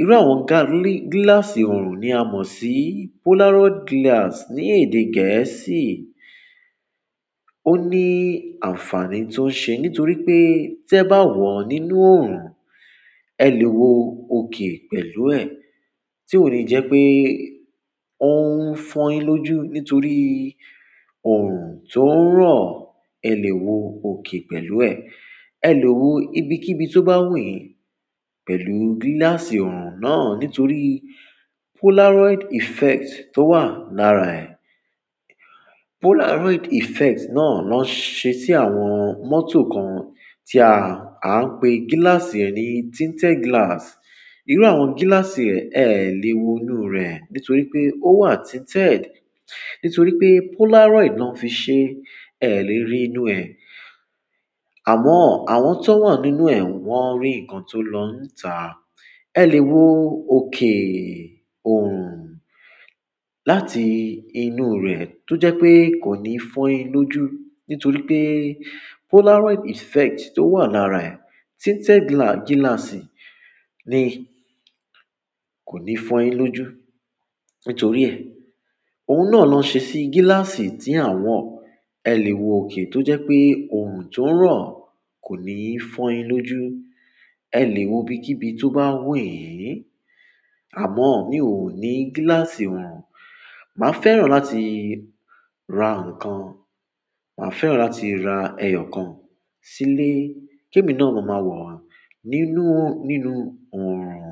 Irú àwọn ga-gíláàsì òrùn ni a mọ̀ sí Polaroid glass ní èdè Gẹ̀ẹ́sì. Ó ní àǹfààní tó ń ṣe nítorí pé tí ẹ bá wọ̀ ọ́ nínú òrùn, ẹ lè wo òkè pẹ̀lú ẹ̀. Tí ò ní jẹ́ pé ó ń fọ́yin lójú nítorí òrùn tó ń rọ̀, ẹ lè wo òkè pẹ̀lú ẹ̀. Ẹ lè wo ibikíbi tó bá wù yín pẹ̀lú gíláàsì òrùn náà nítorí Polaroid effect tó wà lára ẹ̀. Polaroid effect náà ló ń ṣe sí àwọn mọ́tò kan tí a, a ń pe gíláàsì rẹ̀ ní tinted glass. Irú àwọn gíláàsì rẹ̀ ẹ lè wo inú rẹ̀ nítorí pé ó wà tinted. Nítorí pé Polaroid náà fi ṣe ẹ lè rí inú ẹ̀. Àmọ́ àwọn tó wà nínú ẹ̀ wọ́n ń rí nǹkan tó lọ́ ń tà. Ẹ lè wo òkè òrùn lati inú re to je wípé ko ni fo yin loju nítorí pe polaroid effect to wa lare e, tinted gilasii ni, ko ni fo yin loju nítorí ẹ̀, ohun náà ló ń ṣe sí gíláàsì tí àwọn ẹ lè wo òkè tó jẹ́ pé òrùn tó ń rọ̀ kò ní fọ́yin lójú. Ẹ lè wo ibikíbi tó bá wù yín. Àmọ́ mi ò ní gíláàsì òrùn. Màá fẹ́ràn láti ra nǹkan. Màá fẹ́ràn láti ra ẹyọ kan sílé kí èmi náà ló máa wọ̀ ọ́ nínú, nínú òrùn.